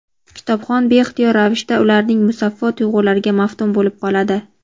kitobxon beixtiyor ravishda ularning musaffo tuyg‘ulariga maftun bo‘lib qoladi.